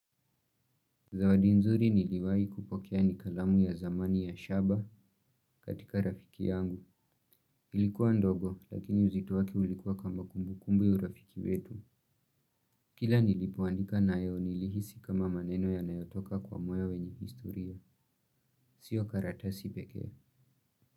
Zawadi nzuri niliwahi kupokea ni kalamu ya zamani ya shaba katika rafiki yangu. Ilikuwa ndogo lakini uzito wake ulikuwa kama kumbukumbu ya urafiki wetu. Kila nilipoandika nayo nilihisi kama maneno yanayotoka kwa moyo wenye historia. Sio karatasi pekee.